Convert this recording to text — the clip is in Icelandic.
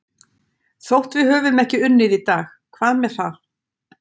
Þótt við höfum ekki unnið í dag, hvað með það?